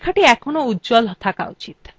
লেখাটি এখনও উজ্জ্বল থাকা উচিত